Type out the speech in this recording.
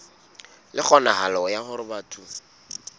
le kgonahalo ya hore batho